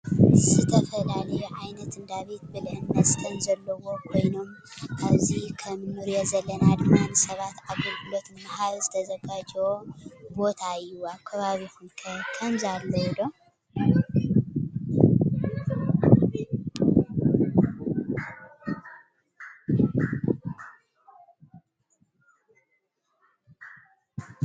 ዝተፈላዩ ዓይነት እንዳ ቤት ብልዕን መስተን ዘለዎ ኮይኖም አብዚ ከም እንሪኦ ዘለና ድማ ንስባት አገልግሎት ንምሃብ ዝተዘጋጀዎ ቦታ እዩ። አብ ከባቢኩም ከ ከምዚ አለው ዶ?